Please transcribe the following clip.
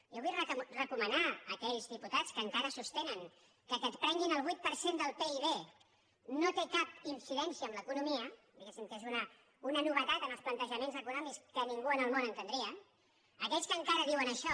jo vull recomanar a aquells diputats que encara sostenen que el fet que et prenguin el vuit per cent del pib no té cap incidència en l’economia diguéssim que és una novetat en els plantejaments econòmics que ningú del món entendria aquells que encara diuen això